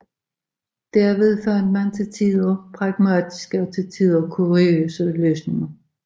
Derved fandt man til tider pragmatiske og til tider kuriøse løsninger